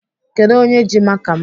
Kedụ onye ji maka m?